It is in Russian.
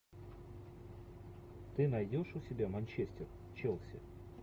ты найдешь у себя манчестер челси